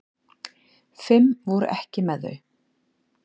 Fimm voru ekki með þau.